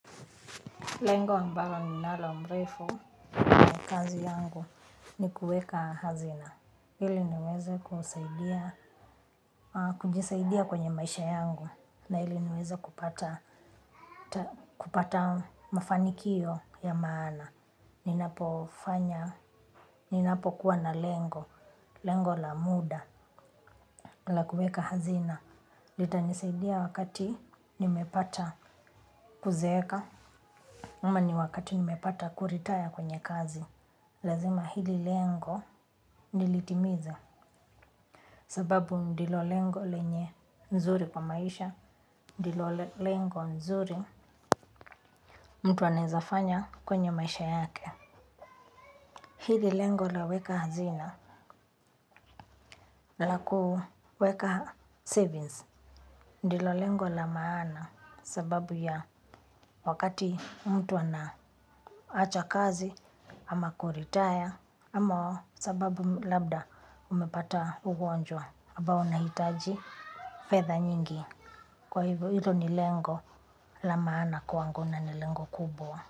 Lengo ambalo ninalo mrefu na kazi yangu ni kuweka hazina. Ili niweze kujisaidia kwenye maisha yangu na ili niweze kupata mafanikio ya maana. Ninapofanya, ninapokuwa na lengo, lengo la muda la kuweka hazina. Litanisaidia wakati nimepata kuzeeka ama ni wakati nimepata kuretire kwenye kazi. Lazima hili lengo nilitimize sababu ndilo lengo lenye nzuri kwa maisha, ndilo lengo nzuri mtu anaezafanya kwenye maisha yake. Hili lengo la weka hazina la kuweka savings, ndilo lengo la maana sababu ya wakati mtu anaacha kazi ama kuretire ama sababu labda umepata ugonjwa ambao unahitaji fedha nyingi. Kwa hivyo hilo ni lengo la maana kwangu na ni lengo kubwa.